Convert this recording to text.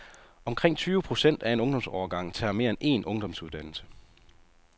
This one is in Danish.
Omkring tyve procent af en ungdomsårgang tager mere end en ungdomsuddannelse.